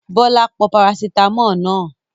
Bọ́lá pọ parasítámọ̀ náà?